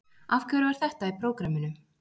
Af hverju var þetta í prógraminu?